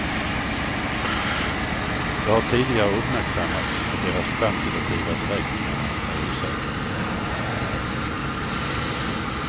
Det har tidigare uppmärksammats att deras kvantitativa beräkningarna är osäkra.